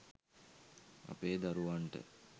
අපේ දරුවන්ට